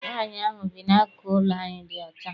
Nwaanyi ahụ bi n'akụkụ ụlọ anyị dị ọcha.